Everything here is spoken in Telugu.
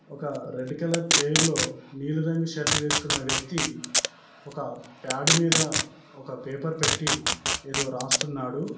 ఒక రెడ్ కలర్ చైర్ లో నీలిరంగు షర్ట్ వేసుకున్న వ్యక్తి ఒక పాడ్ మీద ఒక పేపర్ పెట్టి ఏదో రాస్తున్నాడు.